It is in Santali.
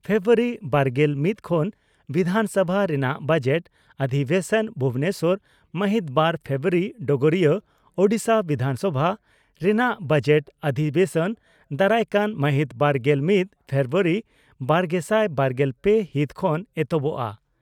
ᱯᱷᱮᱵᱨᱩᱣᱟᱨᱤ ᱵᱟᱨᱜᱮᱞ ᱢᱤᱛ ᱠᱷᱚᱱ ᱵᱤᱫᱷᱟᱱ ᱥᱚᱵᱷᱟ ᱨᱮᱱᱟᱜ ᱵᱚᱡᱮᱴ ᱚᱫᱷᱤᱵᱮᱥᱚᱱ ᱵᱷᱩᱵᱚᱱᱮᱥᱚᱨ, ᱢᱟᱦᱤᱛ ᱵᱟᱨ ᱯᱷᱮᱵᱨᱩᱣᱟᱨᱤ (ᱰᱚᱜᱚᱨᱤᱭᱟᱹ) ᱺ ᱳᱰᱤᱥᱟ ᱵᱤᱫᱷᱟᱱ ᱥᱚᱵᱷᱟ ᱨᱮᱱᱟᱜ ᱵᱚᱡᱮᱴ ᱚᱫᱷᱤᱵᱮᱥᱚᱱ ᱫᱟᱨᱟᱭᱠᱟᱱ ᱢᱟᱦᱤᱛ ᱵᱟᱨᱜᱮᱞ ᱢᱤᱛ ᱯᱷᱮᱵᱨᱩᱣᱨᱤ ᱵᱟᱨᱜᱮᱥᱟᱭ ᱵᱟᱨᱜᱮᱞ ᱯᱮ ᱦᱤᱛ ᱠᱷᱚᱱ ᱮᱦᱚᱵᱚᱜᱼᱟ ᱾